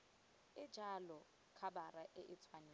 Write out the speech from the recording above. e jalo khabara e tshwanetse